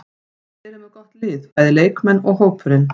Þeir eru með gott lið, bæði leikmenn og hópurinn.